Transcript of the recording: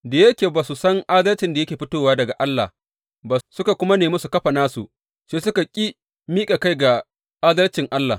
Da yake ba su san adalcin da yake fitowa daga Allah ba suka kuma nemi su kafa nasu, sai suka ƙi miƙa kai ga adalcin Allah.